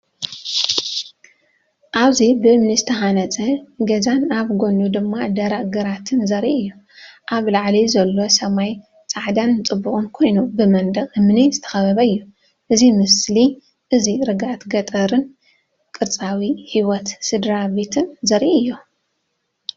እዚ ብእምኒ ዝተሃንጸ ገዛን ኣብ ጎድኑ ድማ ደረቕ ግራትን ዘርኢ እዩ። ኣብ ላዕሊ ዘሎ ሰማይ ጻዕዳን ጽቡቕን ኮይኑ፡ ብመንደቕ እምኒ ዝተኸበበ እዩ። እዚ ምስሊ እዚ ርግኣት ገጠርን ቅርጻዊ ህይወት ስድራቤትን ዘርኢ እዩ።